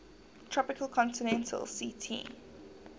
tropical continental ct